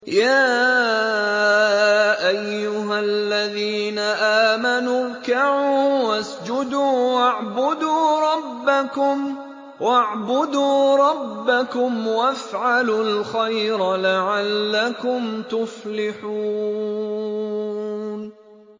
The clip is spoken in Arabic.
يَا أَيُّهَا الَّذِينَ آمَنُوا ارْكَعُوا وَاسْجُدُوا وَاعْبُدُوا رَبَّكُمْ وَافْعَلُوا الْخَيْرَ لَعَلَّكُمْ تُفْلِحُونَ ۩